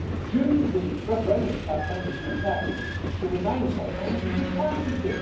Now, during the referendum campaign in the UK the Remain side told us this was fantasy.